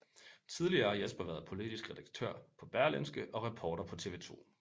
Tidligere har Jesper været politisk redaktør på Berlingske og reporter på TV 2